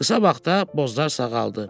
Qısa vaxtda Bozlar sağaldı.